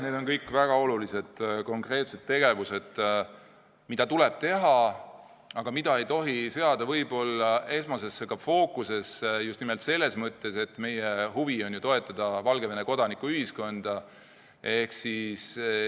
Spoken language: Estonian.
Need on kõik väga olulised konkreetsed tegevused, mida tuleb teha, aga mida ehk ei tohi seada põhifookusesse – just nimelt selles mõttes, et meie huvi on ju toetada Valgevene kodanikuühiskonda.